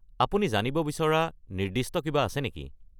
আপুনি জানিব বিচৰা নিৰ্দিষ্ট কিবা আছে নেকি?